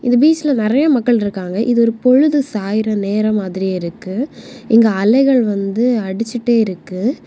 இந்த பீச்ல நிறைய மக்கள் இருக்காங்க இது ஒரு பொழுது சாயற நேரம் மாதிரி இருக்கு இங்கு அலைகள் வந்து அடிச்சுட்டே இருக்கு.